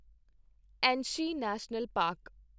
Anshi national park